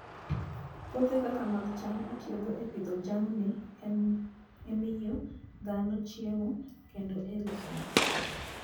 Puothe kaka mag cham itiyogo e pidho jamni, e miyo dhano chiemo, kendo e loso mafuta.